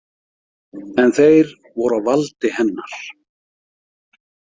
En þeir voru á valdi hennar.